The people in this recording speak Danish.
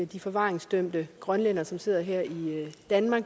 de forvaringsdømte grønlændere som sidder her i danmark